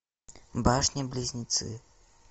башни близнецы